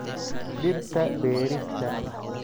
Dhirta beerista.